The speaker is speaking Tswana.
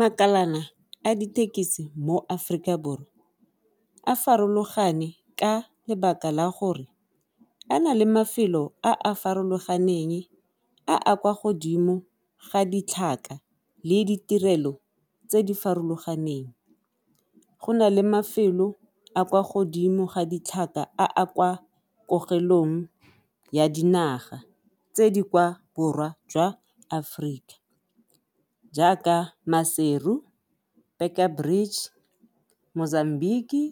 Makalana a dithekisi mo Aforika Borwa a farologane ka lebaka la gore a na le mafelo a a farologaneng a a kwa godimo ga ditlhaka le ditirelo tse di farologaneng, go na le mafelo a kwa godimo ga ditlhaka a a kwa ya dinaga tse di kwa borwa jwa Aforika jaaka Maseru, , Mozambique, ,